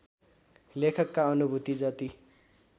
लेखकका अनुभूति जति